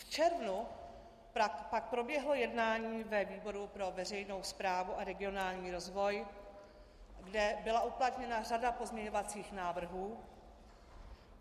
V červnu pak proběhlo jednání ve výboru pro veřejnou správu a regionální rozvoj, kde byla uplatněna řada pozměňovacích návrhů.